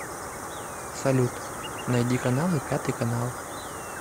салют найди каналы пятый канал